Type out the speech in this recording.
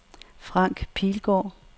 Frank Pilgaard